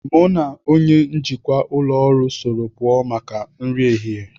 Mu na onye njikwa ụlọ ọrụ soro puo maka nri ehihe